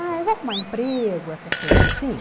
Ah, eu vou arrumar emprego, essas coisas assim.